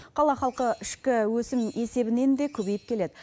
қала халқы ішкі өсім есебінен де көбейіп келеді